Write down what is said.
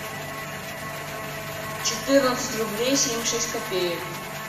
четырнадцать рублей семьдесят шесть копеек